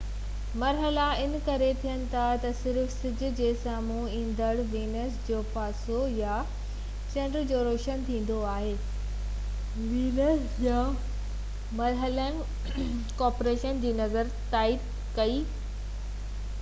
مرحلا ان ڪري ٿين ٿا تہ صرف سج جي سامهون ايندڙ وينس جو پاسو يا چنڊ جو روشن ٿيندو آهي. وينس جا مرحلن ڪوپرنيڪس جي نطريي جي تائيد ڪئي تہ سيارا سج جي چوڌاري گهمن ٿا